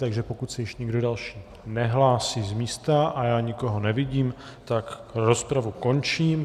Takže pokud se ještě někdo další nehlásí z místa, a já nikoho nevidím, tak rozpravu končím.